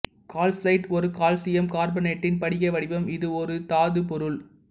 calcite ஒரு calcium கார்பனேட்டின் படிக வடிவம் இது ஒரு தாதுப்பொருள்